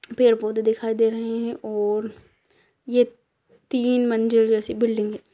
पेड़-पौधे दिखाई दे रहे है और ये तीन मंजिल जैसी बिल्डिंग ---